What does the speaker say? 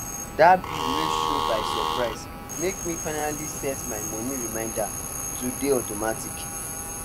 that bill wey show by surprise make me finally set my money reminder to dey automatic